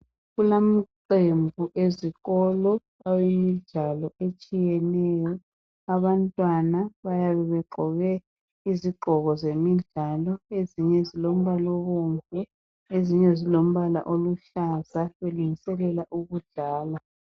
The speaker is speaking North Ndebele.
Kulamaqembu ezikolo awemidlalo etshiyeneyo abantwana bayabe begqoke izigqoko zemidlalo ezinye zilombala obomvu ezinye zilombala oluhlaza belungiselela ukudlala.